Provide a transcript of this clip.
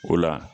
O la